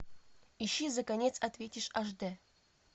ищи за конец ответишь аш д